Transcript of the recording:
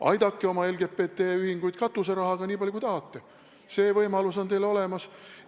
Aidake oma LGBT-ühinguid katuserahaga nii palju, kui tahate, see võimalus on teil olemas.